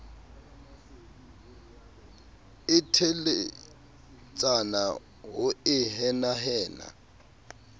e teletsana ho e henahena